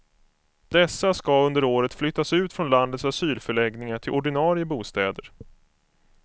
Dessa ska under året flyttas ut från landets asylförläggningar till ordinarie bostäder.